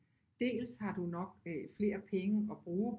Dels har du nok flere penge at bruge